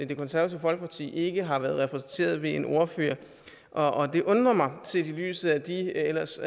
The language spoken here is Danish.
det konservative folkeparti ikke har været repræsenteret ved en ordfører og det undrer mig set i lyset af de ellers